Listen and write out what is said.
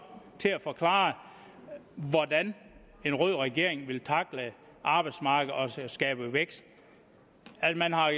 til at forklare hvordan en rød regering vil tackle arbejdsmarkedet og skabe vækst at man har